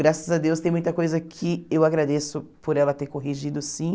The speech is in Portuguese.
Graças a Deus, tem muita coisa que eu agradeço por ela ter corrigido, sim.